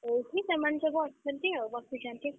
ଏଇଠି ସେମାନେ ସବୁ ଅଛନ୍ତି ଆଉ ବସିଛନ୍ତି।